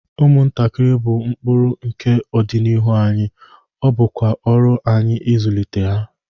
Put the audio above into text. Ụmụntakịrị bụ mkpụrụ nke ọdịnihu anyị, ọ bụkwa ọrụ anyị ịzụlite ha.